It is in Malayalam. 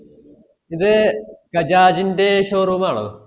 ഇത് ഗജാജ്ന്റ്റെ showroom ആണോ